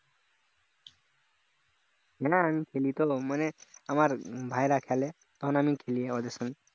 না আমি মানে আমার ভাইরা খেলে তখন আমিও খেলি ওদের সঙ্গে